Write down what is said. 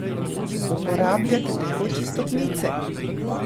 Uporabljate tekoče stopnice?